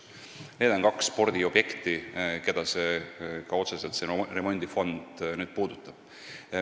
Need on kaks spordiobjekti, mida see remondifond otseselt puudutab.